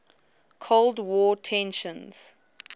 cold war tensions